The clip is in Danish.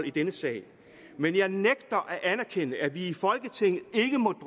i denne sag men jeg nægter at anerkende at vi i folketinget ikke må